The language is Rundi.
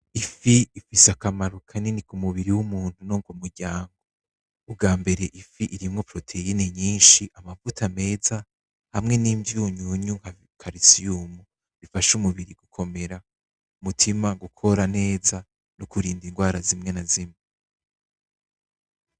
Ifi ifise akamaro kanini k'umuntu no ku muryango , ubwambere ifi irimwo "poroteyine" nyinshi , amavuta meza hamwe n'ivyunyunyu bita "kalisiyumu" bifasha umubiri gukomera , umutima gukora neza no kurinda indwara zimwe na zimwe.